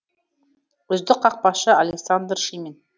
үздік қақпашы александр шимин